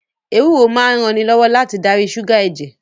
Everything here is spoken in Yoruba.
Ewúro máa ń ranilọ́wọ́ láti darí ṣúgà ẹ̀jẹ̀